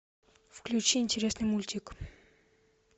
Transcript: включи интересный мультик